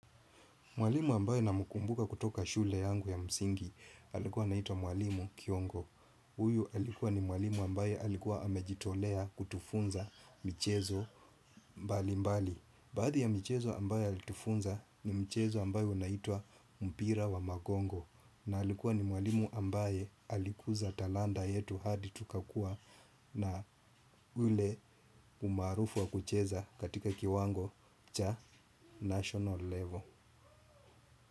Mwalimu ambae namkumbuka kutoka shule yangu ya msingi alikuwa naitwa mwalimu kiongo. Huyu alikuwa ni mwalimu ambaye alikuwa hamejitolea kutufunza michezo mbali mbali. Baadhi ya michezo ambayo alitufunza ni mchezo ambao unaitwa mpira wa magongo. Na alikuwa ni mwalimu ambae alikuza talanta yetu hadi tukakua na ule umaarufu wa kucheza katika kiwango cha national level.